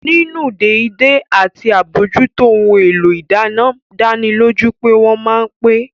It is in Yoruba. Nínú dédé àti àbójútó ohun èlò ìdáná dánilójú pé wọ́n ma pẹ́